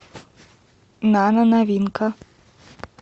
нано новинка